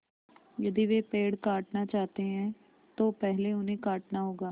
यदि वे पेड़ काटना चाहते हैं तो पहले उन्हें काटना होगा